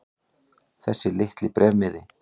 Þessi litli bréfmiði.